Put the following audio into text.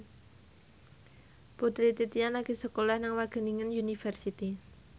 Putri Titian lagi sekolah nang Wageningen University